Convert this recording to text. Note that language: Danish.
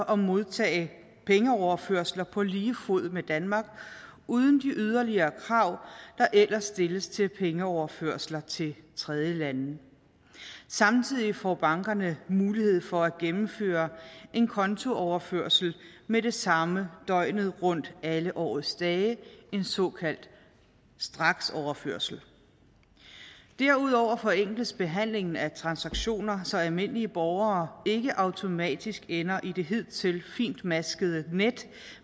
og modtage pengeoverførsler på lige fod med danmark uden de yderligere krav der ellers stilles til pengeoverførsler til tredjelande samtidig får bankerne mulighed for at gennemføre en kontooverførsel med det samme døgnet rundt alle årets dage en såkaldt straksoverførsel derudover forenkles behandlingen af transaktioner så almindelige borgere ikke automatisk ender i det hidtil fintmaskede net